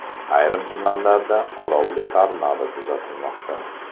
Ayrim tumanlarda olovli tornado kuzatilmoqda .